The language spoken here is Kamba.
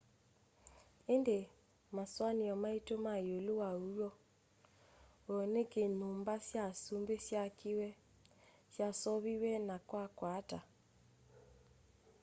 indi masuania maitu me iulu wa uw'o w'o niki nyumba sya asumbi syaakiwe syaseuviw'e na kwakwa ata